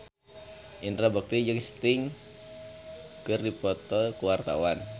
Indra Bekti jeung Sting keur dipoto ku wartawan